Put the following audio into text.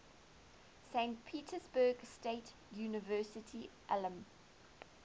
saint petersburg state university alumni